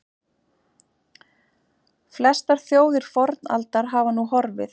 Flestar þjóðir fornaldar hafa nú horfið.